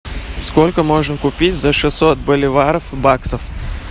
сколько можно купить за шестьсот боливаров баксов